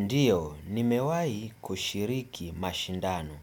Ndiyo, nimewahi kushiriki mashindano.